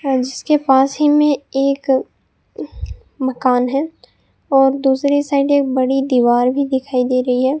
हां जिसके पास ही में एक मकान है और दूसरी साइड एक बड़ी दीवार भी दिखाई दे रही है।